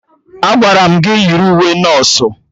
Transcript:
Agwara m gị yiri uwe nọsụ!